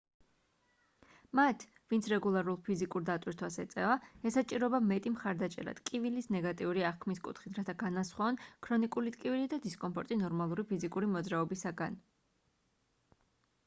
მათ ვინც რეგულარულ ფიზიკურ დატვირთვას ეწევა ესაჭიროება მეტი მხარდაჭერა ტკივილის ნეგატიური აღქმის კუთხით რათა განასხვაონ ქრონიკული ტკივილი და დისკომფორტი ნორმალური ფიზიკური მოძრაობისგან